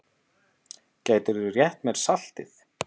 Gætirðu rétt mér saltið?